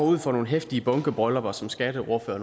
ud for nogle heftige bunkebryllupper som skatteordfører